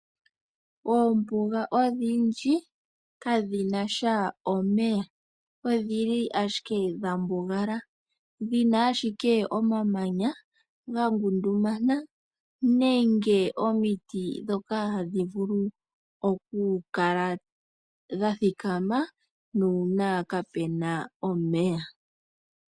Oombuga odhindji kadhi nasha omeya . Odhili ashike dhambugala , dhi na ashike omamanya gangundumana nenge omiti ndhoka hadhi vulu oku kala dha thikama nande kape na omeya .